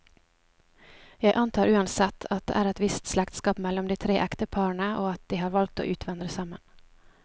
Jeg antar uansett, at det er et visst slektskap mellom de tre ekteparene, og at de har valgt å utvandre sammen.